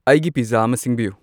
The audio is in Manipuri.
ꯑꯩꯒꯤ ꯄꯤꯖꯖꯥ ꯑꯃ ꯁꯤꯡꯕꯤꯌꯨ